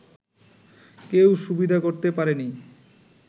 কেউ সুবিধা করতে পারেনি